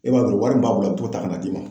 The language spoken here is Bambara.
E b'a dɔn wari b'a bolo a t'o ta kan'a d'i ma